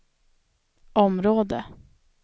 område